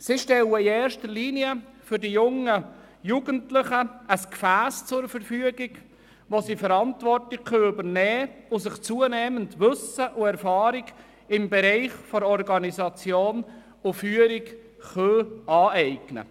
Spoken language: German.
Der Verein stellt in erste Linie den Jugendlichen ein Gefäss zur Verfügung, in dem diese Verantwortung übernehmen und sich zunehmend Wissen und Erfahrung in den Bereichen Organisation und Führung aneignen können.